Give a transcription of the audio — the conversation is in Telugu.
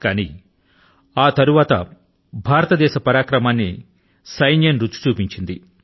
కానీ ఆ తరువాత భారతదేశ పరాక్రమాన్ని సైన్యం రుచి చూపించింది